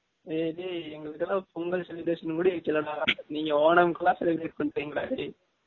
ஏய் டேய் எங்கலுக்கு எல்லம் பொங்கல் celebration கூடி வைகல்ல டா நீங்க Onam க்கு லாம் celebrate பன்ரிங்க டா டேய்